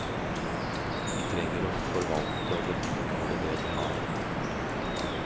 Vi trenger å forvalte og vedlikeholde det vi har.